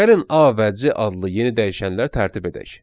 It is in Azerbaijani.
Gəlin A və C adlı yeni dəyişənlər tərtib edək.